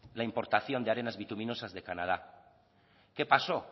la importación de arenas bituminosas de canadá qué pasó